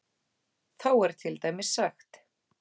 Þá er til dæmis sagt: